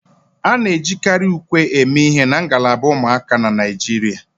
A na-ejikarị ùkwè eme ihe na ngalaba ụmụaka na Naịjirịa